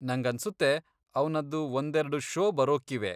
ನಂಗನ್ಸುತ್ತೆ ಅವ್ನದ್ದು ಒಂದೆರ್ಡು ಷೋ ಬರೋಕ್ಕಿವೆ.